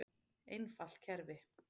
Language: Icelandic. Einfalt kerfi.